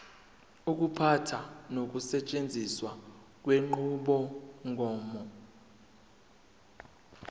ukuphatha nokusetshenziswa kwenqubomgomo